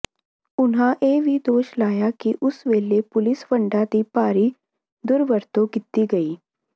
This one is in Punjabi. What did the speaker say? ਉਨ੍ਹਾਂ ਇਹ ਵੀ ਦੋਸ਼ ਲਾਇਆ ਕਿ ਉਸ ਵੇਲੇ ਪੁਲੀਸ ਫੰਡਾਂ ਦੀ ਭਾਰੀ ਦੁਰਵਰਤੋਂ ਕੀਤੀ ਗਈ